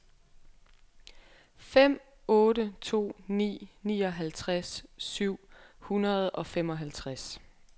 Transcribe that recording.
fem otte to ni nioghalvtreds syv hundrede og femoghalvtreds